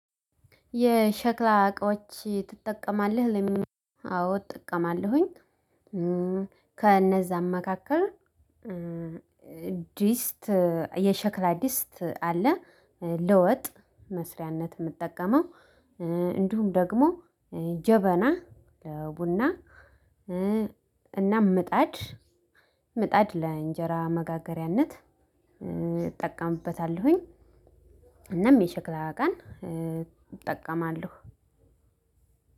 የሸክላ እቃዎች ትጠቀማለህ? አዎ እጠቀማለሁኝ። ከእነዛ መካከል ዲስት፣ የሸክላ ዲስት አለ፣ ለወጥ መስሪያነት የምጠቀመው። እንዲሁም ደግሞ ጀበና ለቡና እና ምጣድ፣ ምጣድ ለእንጀራ መጋገሪያነት እጠቀምበታለሁኝ። እናም የሸክላ ቀን እጠቀማለሁ።